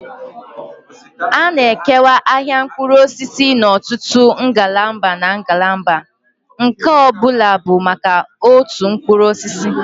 A na-ekewa ahịa mkpụrụ osisi n'ọtụtụ ngalaba na ngalaba, nke ọ bụla bụ maka otu mkpụrụ osisi.